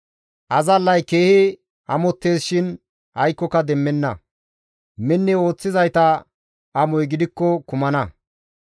Azallay keehi amottees shin aykkoka demmenna; minni ooththizayta amoy gidikko kumana.